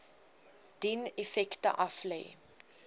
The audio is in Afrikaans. dien effekte aflê